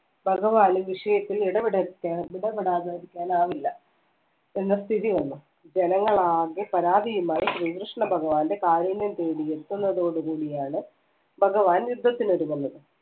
ഭഗവാന്‍ വിഷയത്തില്‍ ഇടപെടാതിരിക്കാൻ ആവില്ല എന്ന സ്ഥിതി വന്നു ജനങ്ങൾ ആകെ പരാതിയുമായി ശ്രീകൃഷ്ണ ഭഗവാൻറെ കാരുണ്യം തേടിയെത്തുന്ന തോടുകൂടിയാണ് ഭഗവാൻ യുദ്ധത്തിന് ഒരുങ്ങുന്നത്